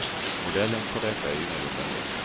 Modellen för detta är ingalunda ny.